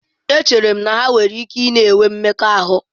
Echere m na ha nwere ike na-enwe mmekọahụ.